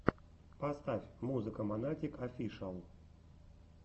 поставь музыка монатик офишиал